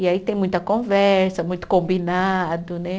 E aí tem muita conversa, muito combinado, né?